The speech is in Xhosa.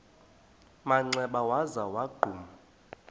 manxeba waza wagquma